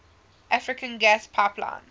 african gas pipeline